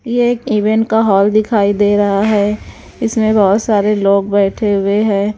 ये एक इवेंट का हॉल दिखाई दे रहा है इसमें बहुत सारे लोग बैठे हुए हैं।